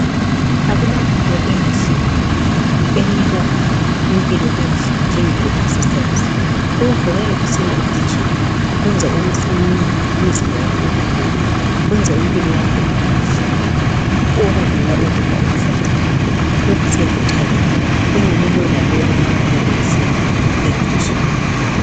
Akulanto enhle enika impilo enhle njengokuzivoxavoxa. Ukuvuka ekuseni ugijima kwenza umzimba wakho ubelula kwenza impilo yakho ibenhle okwedlula ukudla okuhlanzekileyo. Lokhu siyakuthabela engani lowo lalowo engavuka ekuseni egijima.